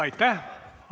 Aitäh!